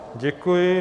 Děkuji.